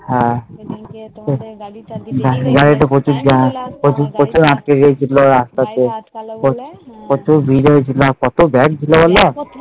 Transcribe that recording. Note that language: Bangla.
হ্যাঁ ঐদিন কে তোমাদের বাড়ি তারই দিয়ে কি লাভ তুমি আটকালে বলে